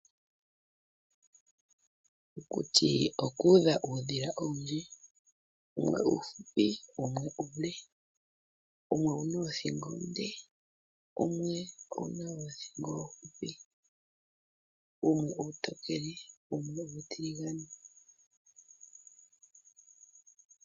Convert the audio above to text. Okuti okuudha uudhila owundji, wumwe uufupi, wumwe uule. Wumwe owu na oodhingo oonde, wumwe owu na oothingo oofupi. Wumwe uutokele, wumwe uutiligane.